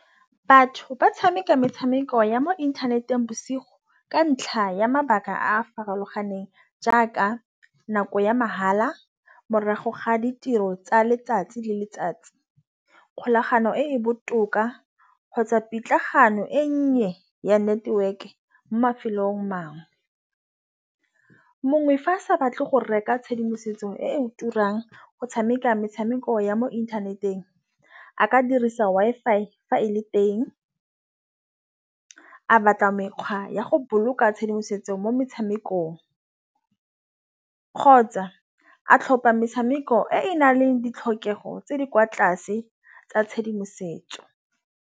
Batho ba tšhameka metšhameko ya mo inthaneteng bosigo. Ka ntlha ya mabaka a farologaneng jaaka nako ya mahala morago ga ditiro tsa letsatsi le letsatsi. Kgolagano e e botoka kgotsa pitlagano e nnye ya network mo mafelong a mangwe. Mongwe fa a sa batle go reka tšhedimosetso e turang go tšhameka metshameko ya mo inthaneteng a ka dirisa Wi-Fi fa e le teng. A batla mekgwa ya go boloka tšhedimosetso mo metšhamekong kgotsa a tlhopha metšhameko e na leng ditlhokego tse di kwa tlase tsa tšhedimosetso.